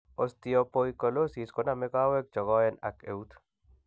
Ostepoikilosis koname kaweg chegaen ak eut